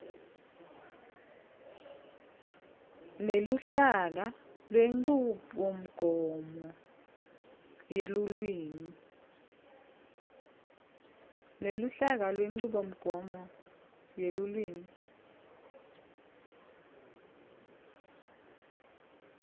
neluhlaka lwenchubomgomo yelulwimi